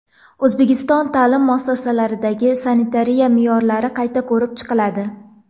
O‘zbekiston ta’lim muassasalaridagi sanitariya me’yorlari qayta ko‘rib chiqiladi.